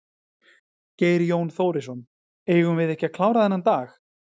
Geir Jón Þórisson: Eigum við ekki að klára þennan dag?